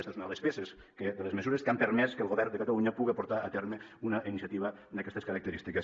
esta és una de les peces de les mesures que han permès que el govern de catalunya puga portar a terme una iniciativa d’aquestes característiques